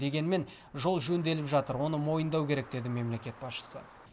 дегенмен жол жөнделіп жатыр оны мойындау керек деді мемлекет басшысы